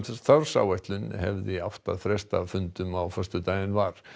starfsáætlun hefði átt að fresta fundum á föstudaginn var